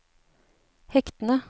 hektene